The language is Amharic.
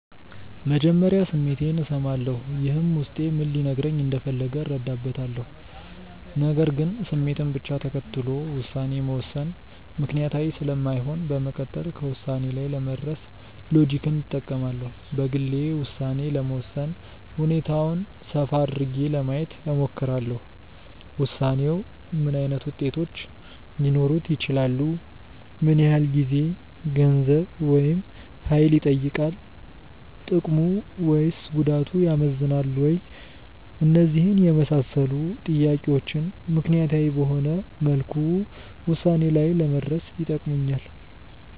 መጀመሪያ ስሜቴን እሰማለሁ። ይህም ውስጤ ምን ሊነግረኝ እንደፈለገ እረዳበታለሁ። ነገር ግን ስሜትን ብቻ ተከትሎ ውሳኔ መወሰን ምክንያታዊ ስለማይሆን በመቀጠል ከውሳኔ ላይ ለመድረስ ሎጂክን እጠቀማለሁ። በግሌ ውሳኔ ለመወሰን ሁኔታውን ሰፋ አድርጌ ለማየት እሞክራለሁ። ውሳኔው ምን ዓይነት ውጤቶች ሊኖሩት ይችላሉ? ምን ያህል ጊዜ፣ ገንዘብ፣ ወይም ሀይል ይጠይቃል። ጥቅሙ ወይስ ጉዳቱ ያመዝናል ወይ? እነዚህን የመሳሰሉ ጥያቄዎች ምክንያታዊ በሆነ መልኩ ውሳኔ ላይ ለመድረስ ይጠቅሙኛል።